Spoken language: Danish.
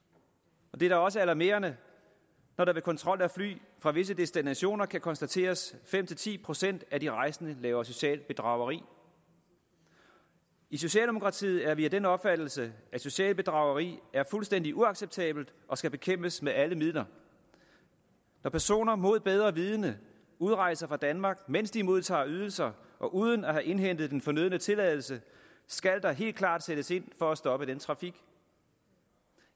det er da også alarmerende når det ved kontrol af fly fra visse destinationer kan konstateres at fem ti procent af de rejsende laver socialt bedrageri i socialdemokratiet er vi af den opfattelse at socialt bedrageri er fuldstændig uacceptabelt og skal bekæmpes med alle midler når personer mod bedre vidende udrejser fra danmark mens de modtager ydelser og uden at have indhentet den fornødne tilladelse skal der helt klart sættes ind for at stoppe den trafik